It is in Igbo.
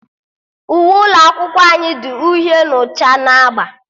Uwe ụlọ akwụkwọ anyị dị uhie na ọcha na agba